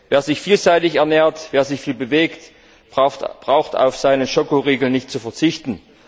Wer sich vielseitig ernährt, wer sich viel bewegt, braucht auf seine Schokoriegel nicht zu verzichten.